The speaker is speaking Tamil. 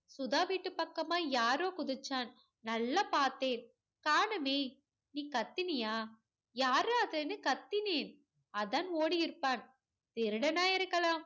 சுதா வீட்டு பக்கமா யாரோ குதிச்சான். நல்லா பாத்தேன். காணுமே. நீ கத்தினியா யார்ரா அதுன்னு கத்தினேன் அதான் ஓடி இருப்பான் திருடனா இருக்கலாம்.